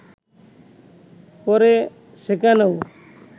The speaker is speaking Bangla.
পরে সেখানেও